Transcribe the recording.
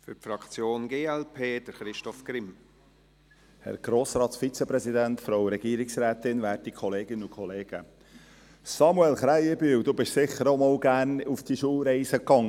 Samuel Krähenbühl, Sie sind sicher auch immer gerne auf Schulreisen gegangen und haben es genossen.